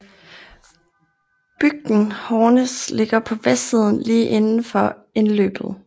Bygden Hårnes ligger på vestsiden lige indenfor indløbet